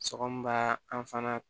Sɔgɔma an fana